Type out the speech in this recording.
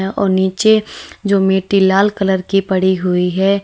और नीचे जो मैटे लाल कलर की पड़ी हुई है।